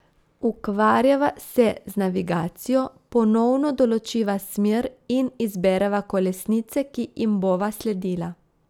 Ukvarjava se z navigacijo, ponovno določiva smer in izbereva kolesnice, ki jim bova sledila.